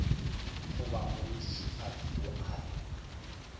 goba morutišigadi yo a re